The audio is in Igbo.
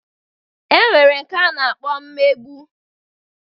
E nwere nke a na-akpọ mmegbu.